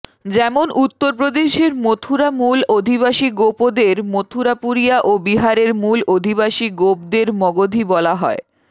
যেমন উত্তরপ্রদেশের মথুরা মূল অধিবাসী গোপদের মথুরাপুরিয়া ও বিহারের মূল অধিবাসী গোপদের মগধী বলা হয়